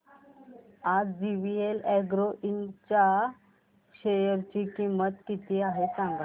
आज JVL agro Ind च्या share ची किंमत किती आहे सांगा